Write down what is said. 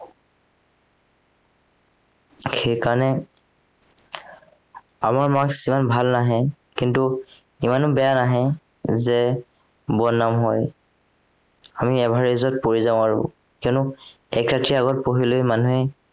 সেইকাৰণে আমাৰ marks ইমান ভাল নাহে কিন্তু ইমানো বেয়া নাহে যে বদনাম হয় আমি average ত পৰি যাও আৰু কিয়নো এক ৰাতিৰ আগত পঢ়িলে মানুহে